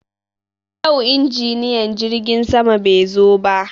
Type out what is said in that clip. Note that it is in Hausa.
Yau injiniyan jirgin sama bai zo ba.